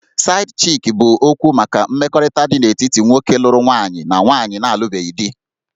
Side-chick' bụ okwu maka mmekọrịta dị n'etiti nwoke lụrụ nwaanyị na nwaanyị na-alụbeghị di